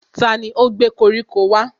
Tani ó gbé koríko wá?